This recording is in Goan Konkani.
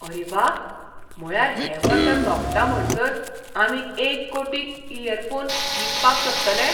आरे वा ! म्हळ्यार हें वर्स सोंपता म्हणसर आमी एक कोटी इयरफोन विकपाक शकतले!